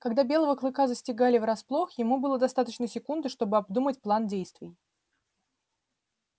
когда белого клыка застигали врасплох ему было достаточно секунды чтобы обдумать план действий